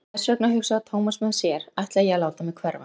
Og þess vegna, hugsaði Thomas með sér, ætla ég að láta mig hverfa.